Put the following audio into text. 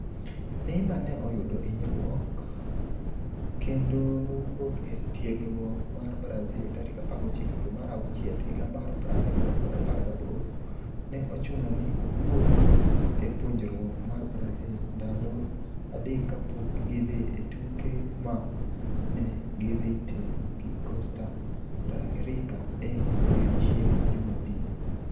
Neymar ne oyudo hinyruok kendo nowuok e tiegruok mar Brazil tarik 19 dwe mar auchiel higa mar 2018. ne ochuno ni owuok e puonjruok mar Brazil ndalo adek kapok gidhi e tuke ma ne gidhi timo gi Costa Rica e odiechieng’ Jumapil.